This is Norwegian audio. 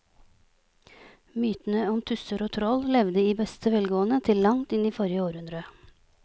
Mytene om tusser og troll levde i beste velgående til langt inn i forrige århundre.